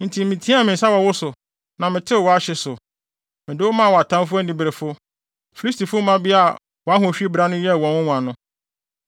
Enti meteɛɛ me nsa wɔ wo so na metew wʼahye so. Mede wo maa wʼatamfo aniberefo, Filistifo mmabea a wʼahohwi bra no yɛɛ wɔn nwonwa no.